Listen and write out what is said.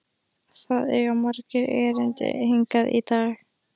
Það eiga margir erindi hingað í dag.